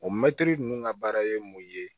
O mɛtiri ninnu ka baara ye mun ye